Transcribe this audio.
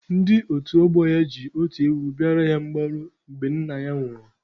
Ndị otu ọgbọ ya ji otu ewu bịara ya mgbaru mgbe nna ya nwụrụ